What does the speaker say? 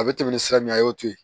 A bɛ tɛmɛ ni sira min a y'o to ye